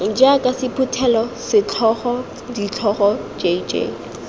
jaaka sephuthelo setlhogo ditlhogo jj